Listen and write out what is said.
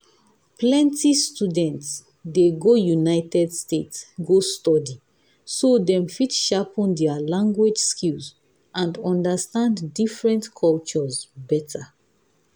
plenty students dey go united states go study so dem fit sharpen their language skills and understand different cultures better.